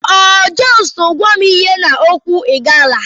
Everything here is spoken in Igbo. O justuu gwam ihe n'okwu Igala?